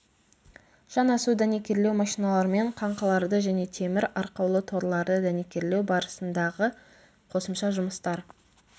жанасу дәнекерлеу машиналармен қаңқаларды және темір арқаулы торларды дәнекерлеу барысындағы қосымша жұмыстар